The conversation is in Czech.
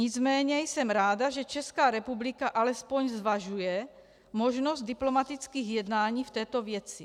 Nicméně jsem ráda, že Česká republika alespoň zvažuje možnost diplomatických jednání v této věci.